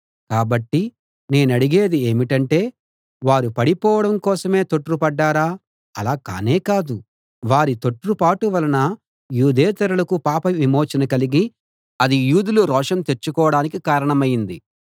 కాబట్టి నేనడిగేది ఏమిటంటే వారు పడిపోవడం కోసమే తొట్రుపడ్డారా అలా కానేకాదు వారి తొట్రుపాటు వలన యూదేతరులకు పాపవిమోచన కలిగి అది యూదులు రోషం తెచ్చుకోడానికి కారణమైంది